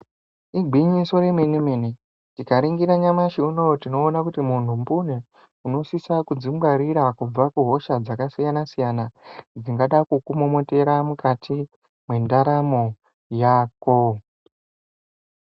Igwinyiso remene mene tikaningira nyamashi unou tinoona kuti munhu mbune unosise kudzingwarira kubva kuhosha dzakasiyana siyana dzingada kukumomotera mukati mwendaramo yako.